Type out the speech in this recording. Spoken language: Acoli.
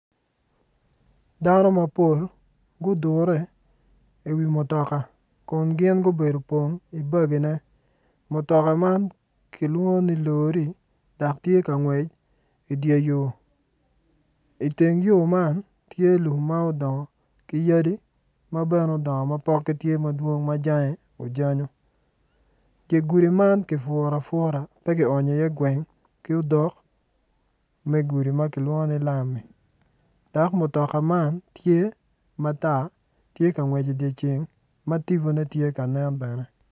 Dano mapol gudure i wi mutoka kun gin gubedo i bogine mutoka man kilwongo ni lori dok tye ka ngwec i dye yo i teng yo man tye lum ma odongo ki yadi ma bene dongo ma dwong ma pokgi tye ma bene ojanyu dye gudi man kipuru apura dok pe ki onyo iye odok me gudi ma kilwongo ni lam dok mutoka man tye ma tar tye ka ngwec i dyeceng dok tipone tye kanen.